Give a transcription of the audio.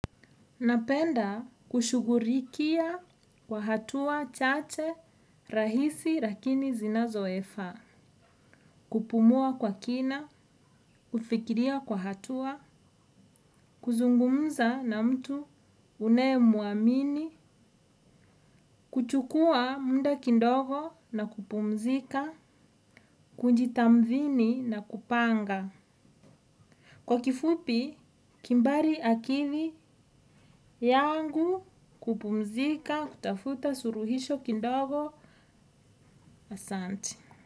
Napenda kushugulikia kwa hatua chache, rahisi, lakini zinazofaa. Kupumua kwa kina, kufikiria kwa hatua, kuzungumza na mtu, unayemuamini, kuchukua muda kidogo na kupumzika, kunjitamthini na kupanga. Kwa kifupi, kimbari akili yangu kupumzika, kutafuta, suluhisho, kidogo, asanti.